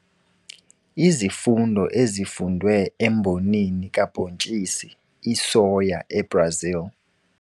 Izifundo ezifundwe embonini kabhontshisi isoya eBrazil